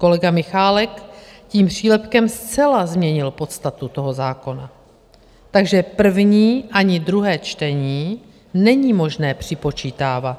Kolega Michálek tím přílepkem zcela změnil podstatu toho zákona, takže první ani druhé čtení není možné připočítávat.